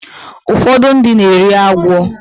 Ụfọdụ ndị na-eri agwọ